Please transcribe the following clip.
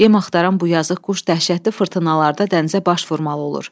Yem axtaran bu yazıq quş dəhşətli fırtınalarda dənizə baş vurmalı olur.